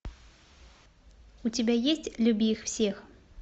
у тебя есть люби их всех